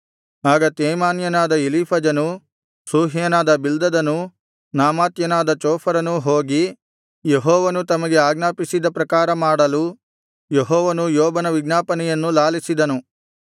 ಆಗ ತೇಮಾನ್ಯನಾದ ಎಲೀಫಜನೂ ಶೂಹ್ಯನಾದ ಬಿಲ್ದದನೂ ನಾಮಾಥ್ಯನಾದ ಚೋಫರನೂ ಹೋಗಿ ಯೆಹೋವನು ತಮಗೆ ಆಜ್ಞಾಪಿಸಿದ ಪ್ರಕಾರ ಮಾಡಲು ಯೆಹೋವನು ಯೋಬನ ವಿಜ್ಞಾಪನೆಯನ್ನು ಲಾಲಿಸಿದನು